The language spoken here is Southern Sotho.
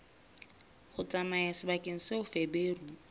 ho tsamaya sebakeng seo feberu